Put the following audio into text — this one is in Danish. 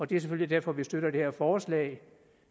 det er selvfølgelig derfor vi støtter det her forslag